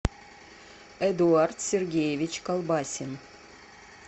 эдуард сергеевич колбасин